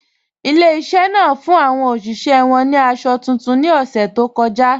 Ilẹ̀-ìṣẹ̀ náà fún awọn oṣiṣẹ̀ wọn ni àṣọ tuntun ni ọṣẹ̀ tó kọja